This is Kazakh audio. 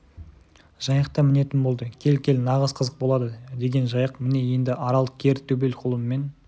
жайық та мінетін болды кел-кел нағыз қызық болады деген жайық міне енді арал кер төбел құлынмен